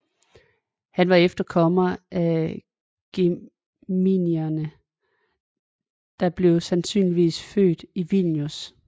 Han var efterkommer af Geminiderne og blev sandsynligvis født i Vilnius